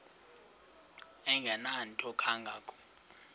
engenanto kanga ko